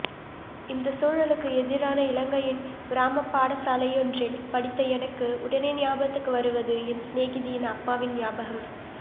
இந்தச் சூழலுக்கு எதிரான இலங்கையின் கிராமப் பாடசாலையொன்றில் படித்த எனக்கு உடனே ஞாபகத்துக்கு வருவது என் சினேகிதியின் அப்பாவின் ஞாபகம்